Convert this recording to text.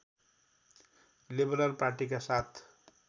liberal पार्टीका साथ